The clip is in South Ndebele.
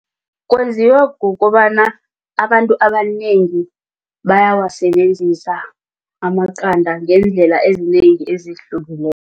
Kwenziwa kukobana abantu abanengi bayawasebenzisa amaqanda ngeendlela ezinengi ezihlukileko.